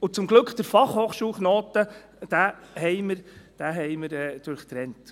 Und zum Glück haben wir den Fachhochschulknoten durchtrennt.